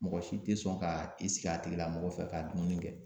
Mɔgɔ si tɛ sɔn ka i sigi a tigi la mɔgɔ fɛ ka dumuni kɛ